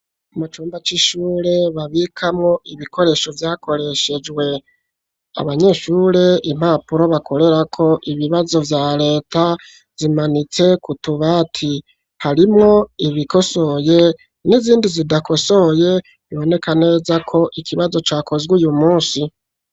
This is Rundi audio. Mu cumba c'ishure babikamwo ibikoresho vyakoreshejwe. Abanyeshure, impapuro bakorerako ibibazo vya reta zimanitse ku tubati. Harimwo ibikosoye n'izindi zidakosoye biboneka neza ko ikibazo cakozwe uyu musi.